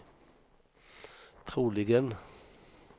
troligen